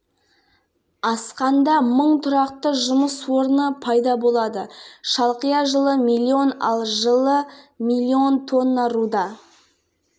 ертең таңғы лас-вегас қаласында кәсіпқой бокста жеңіліс көрмеген жерлесіміз бекман сойлыбаев екінші жартылай орта салмақта тұжырымы бойынша чемпиондық атағын корғайды